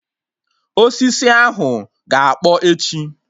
Osisi ahụ ga-akpọ echi